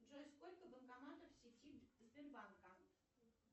джой сколько банкоматов в сети сбербанка